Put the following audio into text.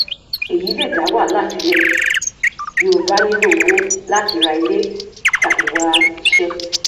èyí lè dá wàhálà sílẹ bí o bá nílò owó láti ra ilé tàbí wá iṣẹ